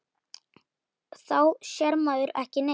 Þá sér maður ekki neitt.